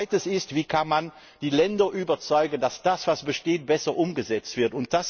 Das zweite ist Wie kann man die Länder überzeugen, dass das, was besteht, besser umgesetzt wird?